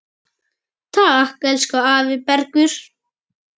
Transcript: Takk, elsku afi Bergur.